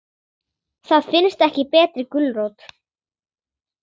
Það finnst ekki betri gulrót.